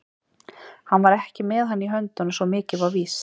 Hann var ekki með hann í höndunum, svo mikið var víst.